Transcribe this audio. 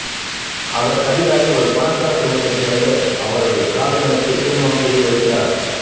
அவர் கவிதாவை ஒரு பணக்கார குடும்பத்தைச் சேர்ந்த அவரது காதலனுக்கு திருமணம் செய்து வைக்கிறார்